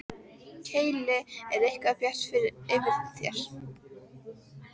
Keili er eitthvað bjart yfir þér.